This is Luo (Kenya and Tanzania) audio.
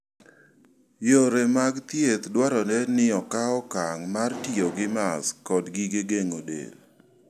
Yore mag thieth dwarore ni okaw okang' mar tiyo gi mask kod gige geng'o del.